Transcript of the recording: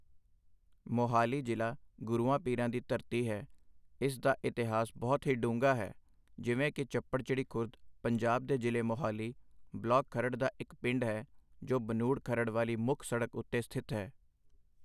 ਮੋਹਾਲੀ ਜ਼ਿਲ੍ਹਾ ਗੁਰੂਆਂ ਪੀਰਾਂ ਦੀ ਧਰਤੀ ਹੈ, ਇਸ ਦਾ ਇਤਿਹਾਸ ਬਹੁਤ ਹੀ ਡੂੰਘਾ ਹੈ, ਜਿਵੇਂ ਕਿ ਚੱਪੜਚਿੜੀ ਖੁਰਦ ਪੰਜਾਬ ਦੇ ਜ਼ਿਲ੍ਹੇ ਮੁਹਾਲੀ, ਬਲਾਕ ਖਰੜ੍ਹ ਦਾ ਇੱਕ ਪਿੰਡ ਹੈ, ਜੋ ਬਨੂੜ ਖਰੜ ਵਾਲੀ ਮੁੱਖ ਸੜਕ ਉੱਤੇ ਸਥਿਤ ਹੈ।